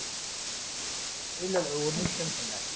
இல்ல இல்ல ஒரு நிமிஷம்னு சொன்னேன்.